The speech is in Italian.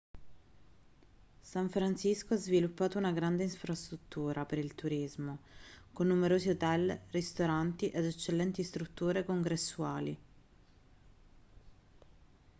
san francisco ha sviluppato una grande infrastruttura per il turismo con numerosi hotel ristoranti ed eccellenti strutture congressuali